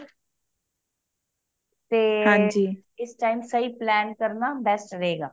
ਤੇ ਇਸ time ਸਹੀ plan ਕਰਨਾ best ਰਹੇਗਾ